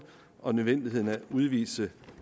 og nødvendigheden af at udvise